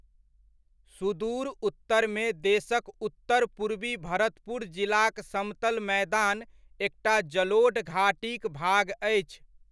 सुदूर उत्तरमे देशकउत्तर पूर्वी भरतपुर जिलाक समतल मैदान एकटा जलोढ़ घाटीक भाग अछि।